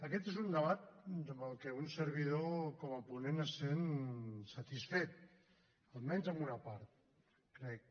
aquest és un debat amb el que un servidor com a ponent es sent satisfet almenys en una part crec